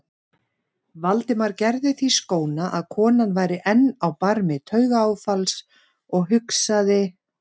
Valdimar gerði því skóna að konan væri enn á barmi taugaáfalls og hugsaði